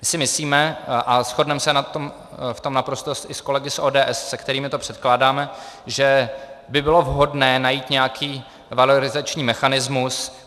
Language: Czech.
My si myslíme, a shodneme se v tom naprosto i s kolegy s ODS, se kterými to předkládáme, že by bylo vhodné najít nějaký valorizační mechanismus.